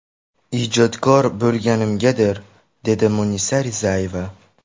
Ijodkor bo‘lganimgadir”, dedi Munisa Rizayeva.